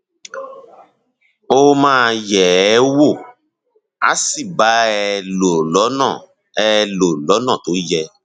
ó máa yẹ ẹ wò á sì bá ẹ lò lọnà ẹ lò lọnà tó yẹ